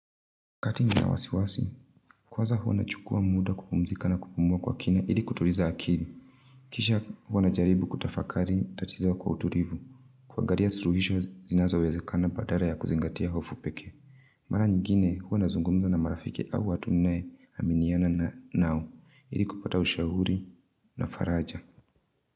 Wakati nina wasiwasi, kwaza huwa nachukua muda kupumzika na kupumua kwa kina ili kutuliza akili. Kisha huwa najaribu kutafakari tatizo kwa utulivu, kuangalia suluhisho zinazoweza kuwezekana badala ya kuzingatia hofu pekee. Mara nyingine huwa nazungumza na marafiki au watu ninaominiana nao, ili kupata ushauri na faraja.